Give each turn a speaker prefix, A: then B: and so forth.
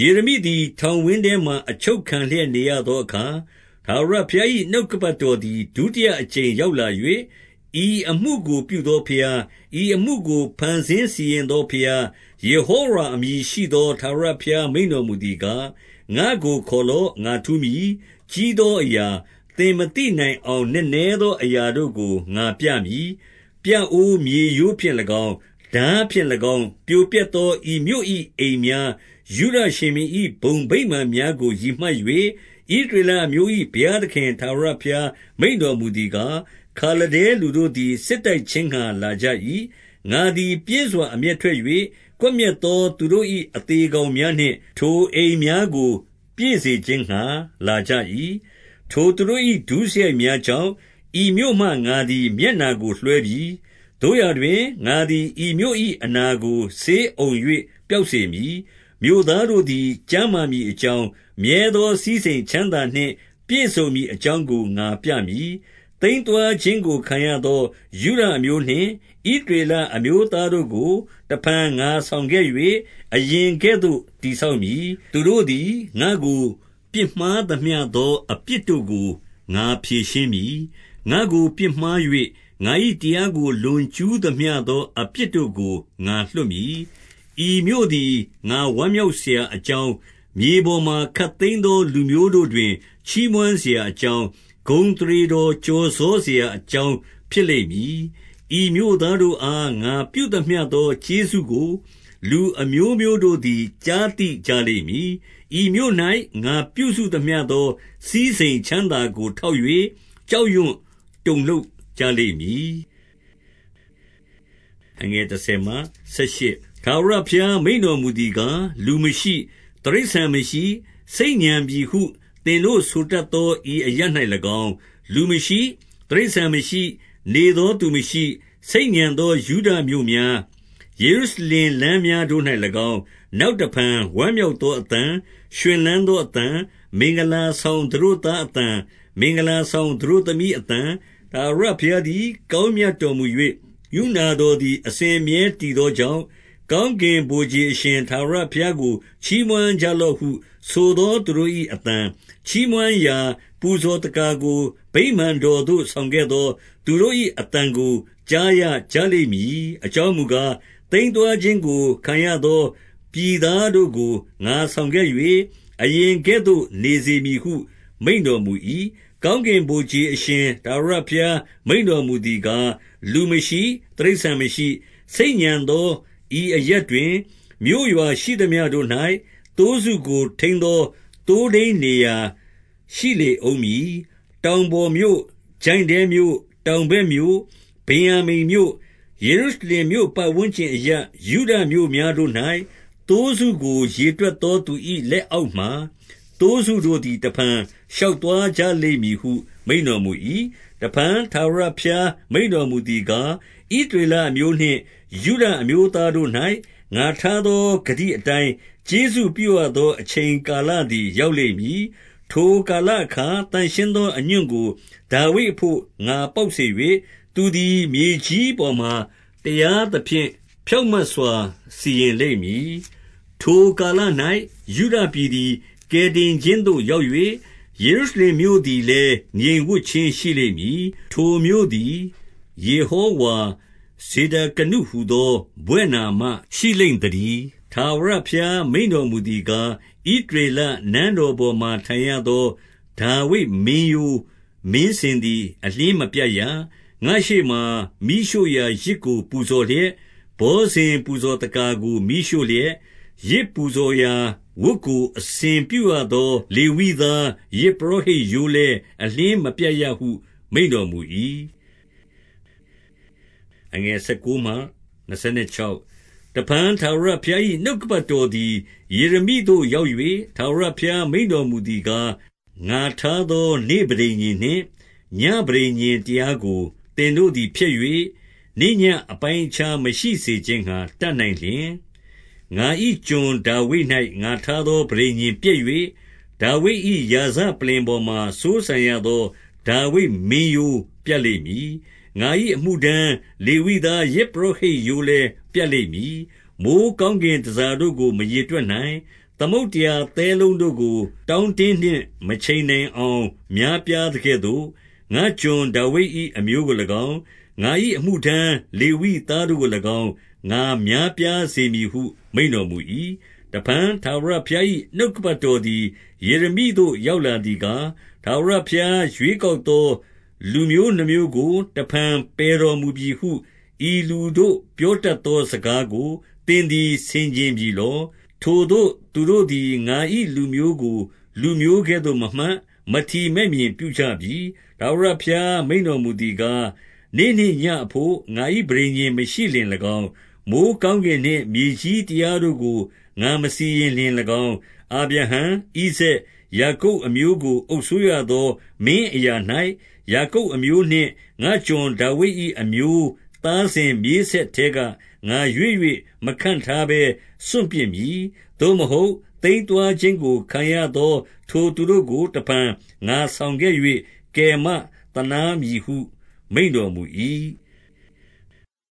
A: ယေရမိသည် ထောင်ဝင်းထဲမှာ အချုပ်ခံလျက် နေရသောအခါ၊ ထာဝရဘုရား၏ နှုတ်ကပတ်တော်သည် ဒုတိယအကြိမ် ရောက်လာ၍၊ 2 ဤအမှုကကို ပြုသောဘုရား၊ ဤအမှုကို ဖန်ဆင်းစီရင်သော ဘုရား၊ ယေဟောဝါ အမည်ရှိသော ထာဝရဘုရား မိန့်တော်မူသည်ကား၊ 3 ငါ့ကိုခေါ်လော့။ ငါထူးမည်။ ကြီးသောအရာ၊ သင်မသိနိုင်အောင် နက်နဲသော အရာတို့ကို ငါပြမည်။ 4 ပြအိုးမြေရိုးဖြင့်၎င်း၊ ထားဖြင့်၎င်း ပြိုပျက်သော ဤမြို့၏အိမ်များ၊ ယုဒရှင်ဘုရင်၏ ဘုံဗိမာန်များကို ရည်မှတ်၍၊ ဣသရေလအမျိုး၏ ဘုရားသခင် ထာဝရ ဘုရား မိန့်တော်မူသည်ကား၊ 5 ခါလဒဲလူတို့သည် စစ်တိုက်ခြင်းငှါ လာကြ၏။ ငါသည် ပြင်းစွာ အမျက်ထွက်၍ ကွပ်မျက်သော သူတို့၏ အသေကောင်များနှင့် ထိုအိမ်များကို ပြည့်စေခြင်းငှါ လာကြ၏။ ထိုသူတို့၏ ဒုစရိုက်များကြောင့်၊ ဤမြို့မှ ငါသည် မျက်နှာကိုလွှဲပြီ။ 6 သို့ရာတွင်၊ ငါသည် ဤမြို့၏ အနာကို ဆေးအုံ ၍ ပျောက်စေမည်။ မြို့သားတို့သည် ကျန်းမာမည် အကြောင်း၊ မြဲသောစည်းစိမ်ချမ်းသာနှင့် ပြည့်စုံမည် အကြောင်းကို ငါပြမည်။ 7 သိမ်းသွားခြင်းကိုခံရသော ယုဒအမျိုးနှင့် ဣသရေလအမျိုးသားတို့ကို တဖန်ငါဆောင်ခဲ့၍ အရင် ကဲ့သို့ တည်ဆောက်မည်။ 8 သူတို့သည် ငါ့ကိုပြစ်မှားသမျှသော အပြစ်တို့ကို ငါဖြေရှင်းမည်။ ငါ့ကိုပြစ်မှား၍ ငါ၏တရားကို လွန်ကျူး သမျှသော အပြစ်တို့ကို ငါလွှတ်မည်။ 9 ဤမြို့သည် ငါဝမ်းမြောက်စရာအကြောင်း၊ မြေပေါ်မှ ခပ်သိမ်းသောလူမျိုးတို့တွင် ချီးမွမ်းစရာ အကြောင်း၊ဂုဏ်အသရေတော်ကျော်စောစရာအကြောင်း ဖြစ်လိမ့်မည်။ ဤမြို့သားတို့အား ငါပြုသမျှသော ကျေးဇူးကို လူအမျိုးမျိုးတို့သည် ကြားသိကြလိမ့်မည်။ ဤမြို့၌ ငါပြုစုသမျှသော စည်းစိမ်ချမ်းသာကိုထောက်၍ ကြောက်ရွံတုန်လှုပ်ကြလိမ့်မည်။ 10 ထာဝရဘုရား မိန့်တော်မူသည်ကား၊ လူမရှိ၊ တိရစ္ဆာန်မရှိ၊ ဆိတ်ညံပြီဟု သင်တို့ဆိုတတ်သော ဤအရပ်၌၎င်း၊ လူမရှိ၊ တိရစ္ဆာန်မရှိ၊ နေသောသူမရှိ၊ ဆိတ်ညံသောယုဒမြို့များ၊ ယေရုရှလင် လမ်းများတို့၌၎င်း၊ 11 နောက်တဖန်ဝမ်းမြောက်သော အသံ၊ ရွှင်လန်း သော အသံ၊ မင်္ဂလာဆောင်သတို့သားအသံ၊ မင်္ဂလာ ဆောင်သတို့သမီးအသံ၊ ထာဝရဘုရားသည် ကောင်းမြတ် တော်မူ၍ ကရုဏာတော်သည် အစဉ်အမြဲတည်သော ကြောင့်၊ ကောင်းကင်ဗိုလ်ခြေအရှင် ထာဝရဘုရားကို ချီးမွမ်းကြလော့ဟုဆိုသော သူတို့၏အသံ၊ ချီးမွမ်းရာ ပူဇော်သက္ကာကို ဗိမာန်တော်သို့ဆောင်ခဲ့သော သူတို့၏ အသံကို ကြားရကြလိမ့်မည်။ အကြောင်းမူကား၊ သိမ်း သွားခြင်းကို ခံရသော ပြည်သားတို့ကို ငါဆောင်ခဲ့၍၊ အရင်ကဲ့သို့ နေစေမည်ဟု မိန့်တော်မူ၏။ 12 ကောင်းကင်ဗိုလ်ခြေအရှင် ထာဝရဘုရား မိန့် တော်မူသည်ကား၊ လူမရှိ၊ တိရစ္ဆာန်မရှိ၊ ဆိတ်ညံသော ဤအရပ်တွင်၊ မြို့ရွာရှိသမျှတို့၌ သိုးစုကို ထိန်းသော သိုးထိန်းနေရာရှိလေဦးမည်။ 13 တောင်ပေါ်မြို့၊ ချိုင့်ထဲမြို့၊ တောင်ဘက်မြို့၊ ဗင်္ယာမိန်ပြည်၊ ယေရုရှလင်မြို့ ပတ်ဝန်းကျင်အရပ်၊ ယုဒမြို့များတို့၌၊ သိုးစုကိုရေတွက်သော သူ၏ လက် အောက်မှာ၊ သိုးစုတို့သည် တဖန်ရှောက်သွားကြလိမ့်မည် ဟု မိန့်တော်မူ၏။ 14 တဖန် ထာဝရဘုရား မိန့်တော်မူသည်ကား၊ ဣသရေလအမျိုးနှင့် ယုဒအမျိုးသားတို့၌ ငါထားသော ဂတိအတိုင်း ကျေးဇူးပြုရသော အချိန်ကာလသည် ရောက်လိမ့်မည်။ 15 ထိုကာလအခါ သန့်ရှင်းသော အညွန့်ကို ဒါဝိဒ် အဘို့ငါ ပေါက်စေ၍၊ သူသည် မြေကြီးပေါ်မှာ တရား သဖြင့် ဖြောင့်မတ်စွာ စီရင်လိမ့်မည်။ 16 ထိုကာလ၌ ယုဒပြည်သည် ကယ်တင်ခြင်းသို့ ရောက်၍၊ ယေရုရှလင်မြို့သည်လည်း ငြိမ်ဝပ်ခြင်း ရှိလိမ့် မည်။ ထိုမြို့သည် ယေဟောဝါဇေဒကနုဟူသော ဘွဲ့နာမရှိလိမ့်သတည်း။ 17 ထာဝရဘုရား မိန့်တော်မူသည်ကား၊ ဣသ ရေလနန်းတော်ပေါ်မှာ ထိုင်ရသော ဒါဝိဒ်မင်းရိုးမင်းစဉ် သည် အလျှင်းမပြတ်ရ။ 18 ငါ့ရှေ့မှာ မီးရှို့ရာ ယဇ်ကိုပူဇော်လျက်၊ ဘောဇဉ် ပူဇော်သက္ကာကို မီးရှို့လျက်၊ ယဇ်ပူဇော်ရာဝတ်ကို အစဉ်ပြုရသော လေဝိသားယဇ်ပုရောဟိတ် ရိုးလည်း အလျှင်းမပြတ်ရဟု မိန့်တော်မူ၏။ 19 တဖန် ထာဝရဘုရား၏ နှုတ်ကပတ်တော်သည် ယေရမိသို့ ရောက်၍၊ 20 ထာဝရဘုရား မိန့်တော်မူသည်ကား၊ ငါထား သော နေ့ပဋိညာဉ်နှင့် ညဉ့်ပဋိညာဉ်တရားကို သင်တို့ သည် ဖျက်၍၊ နေ့ညဉ့်အပိုင်းအခြား မရှိစေခြင်းငှါ တတ် နိုင်လျှင်၊ 21 ငါ၏ကျွန် ဒါဝိဒ်၌ ငါထားသော ပဋိညာဉ် ပျက်၍၊ ဒါဝိဒ်၏ ရာဇပလ္လင်ပေါ်မှာစိုးစံရသော ဒါဝိဒ် မင်းရိုးသည် ပြတ်လိမ့်မည်။ ငါ၏အမှု ထမ်းလေဝိသား ယဇ်ပုရောဟိတ်ရိုးလည်း ပြတ်လိမ့်မည်။ 22 မိုဃ်းကောင်းကင် တန်ဆာတို့ကို မရေတွက်နိုင်၊ သမုဒ္ဒရာသဲလုံးတို့ကို ကောင်းကင်နှင့် မခြင်နိုင်အောင် များပြားသကဲ့သို့၊ ငါ့ကျွန်ဒါဝိဒ်၏အမျိုးကို၎င်း၊ ငါ၏အမှု ထမ်းလေဝိသားတို့ကို၎င်း ငါများပြားစေမည်ဟု မိန့်တော် မူ၏။ 23 တဖန် ထာဝရဘုရား၏ နှုတ်ကပတ်တော်သည် ယေရမိသို့ ရောက်လာသည်ကား၊ 24 ထာဝရဘုရား ရွေးကောက်သော လူမျိုးနှစ်မျိုး ကို တဖန်ပယ်တော်မူပြီဟု ဤလူတို့ပြောတတ်သော စကားကို သင်သည်ဆင်ခြင်ပြီလော။ ထိုသို့သူတို့သည် ငါ၏လူမျိုးကို လူမျိုး ကဲ့သို့မမှတ်၊ မထီမဲ့မြင်ပြုကြပြီ။ 25 ထာဝရဘုရား မိန့်တော်မူသည်ကား၊ နေ့နှင့်ညဉ့် အဘို့ငါ၏ပဋိညာဉ်မရှိလျှင်၎င်း၊ မိုဃ်းကောင်းကင်နှင့် မြေကြီးတရားတို့ကို ငါမစီရင်လျှင်၎င်း၊ 26 အာဗြဟံ၊ ဣဇာက်၊ ယာကုပ်အမျိုးကို အုပ်စိုး ရသော မင်းအရာ၌၊ ယာကုပ်အမျိုးနှင့် ငါ့ကျွန်ဒါဝိဒ်၏ အမျိုးသားစဉ် မြေးဆက်ထဲက ငါရွေး၍ မခန့်ထားဘဲ စွန့်ပစ်မည်။ သို့မဟုတ် သိမ်းသွားခြင်းကိုခံရသော ထိုသူ တို့ကို တဖန်ငါဆောင်ခဲ့၍ မသာနားမည်ဟု မိန့်တော် မူ၏။